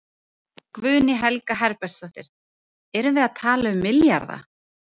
Guðný Helga Herbertsdóttir: Erum við að tala um milljarða?